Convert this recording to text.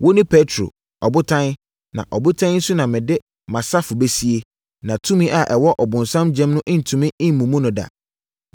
Wone Petro, Ɔbotan, na ɔbotan yi so na mede mʼasafo bɛsie, na tumi a ɛwɔ ɔbonsam gyam no rentumi mmubu no da.